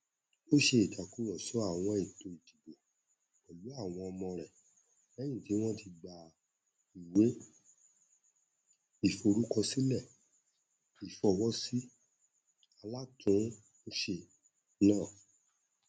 ó ṣe ìtàkùrọsọ àwọn ẹtọ ìdìbò pẹlú àwọn ọmọ rẹ lẹyìn tí wọn ti gba ìwé ìforúkọsílẹ ìfọwọsí alátùnúnṣe náà